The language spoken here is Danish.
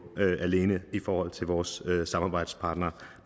alene i forhold til vores samarbejdspartnere